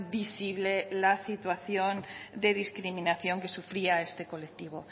visible la situación de discriminación que sufría este colectivo